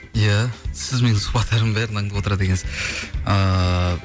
иә сіз менің сұхбаттарым бәрін аңдып отырады екенсіз ыыы